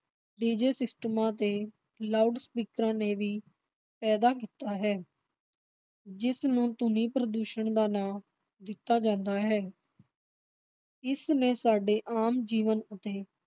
DJ ਸਿਸਟਮਾਂ ਤੇ ਲਾਊਡਸਪੀਕਰਾਂ ਨੇ ਵੀ ਪੈਦਾ ਕੀਤਾ ਹੈ ਜਿਸਨੂੰ ਧੁਨੀ ਪ੍ਰਦੂਸ਼ਣ ਦਾ ਨਾਂ ਦਿੱਤਾ ਜਾਂਦਾ ਹੈ ਇਸਨੇ ਸਾਡੇ ਆਮ ਜੀਵਨ ਅਤੇ